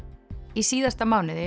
í síðasta mánuði